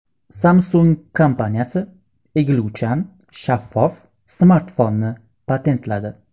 Samsung kompaniyasi egiluvchan shaffof smartfonni patentladi.